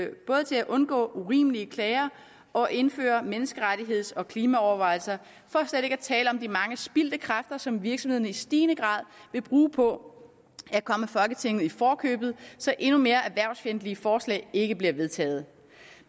undgå urimelige klager og indføre menneskerettigheds og klimaovervejelser for slet ikke at tale om de mange spildte kræfter som virksomhederne i stigende grad vil bruge på at komme folketinget i forkøbet så endnu mere erhvervsfjendtlige forslag ikke bliver vedtaget